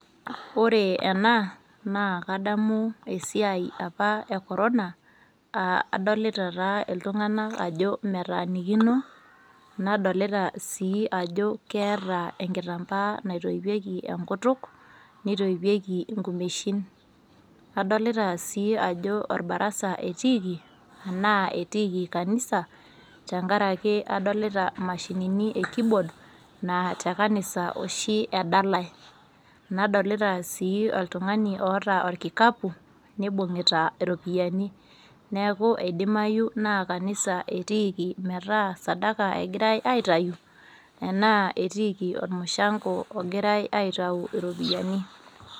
Ore ena naa kadamu apa esiai e corona , naa adolita taa iltunganak ajo metaanikino , nadolita sii ajo keeta enkitambaa naitoipieki enkutuk nitoipieki nkumeshin. Adolita sii ajoorbarasa etiiki anaa etiiki kanisa tenkaraki adolita mashinini e keyboard naa te kanisa oshi edalae. Nadolita sii oltungani ooota orkikapu , nibungita iropiyiani. Neeku idimayu naa kanisa etiiki meetaa sadaka egirae aitayu enaa etiiki ormushango ogirae aitayu iropiyiani.